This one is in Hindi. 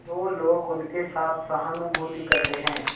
तो लोग उनके साथ सहानुभूति करते हैं